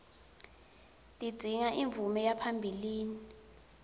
tidzinga imvume yaphambilini